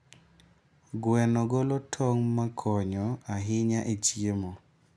Gweno golo tong' ma konyo ahinya e chiemo.